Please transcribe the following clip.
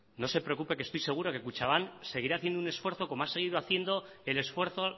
no se preocupe que estoy seguro que kutxabank seguirá haciendo un esfuerzo como ha seguido haciendo el esfuerzo